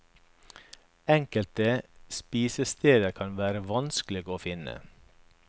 Enkelte spisesteder kan være vanskelig å finne.